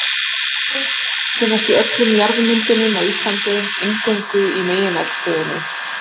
Líparít finnst í öllum jarðmyndunum á Íslandi, eingöngu í megineldstöðvum.